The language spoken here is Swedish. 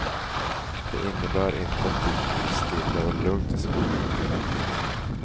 Det innebär inte att det blir stilla och lugnt i skogarna under rallyt.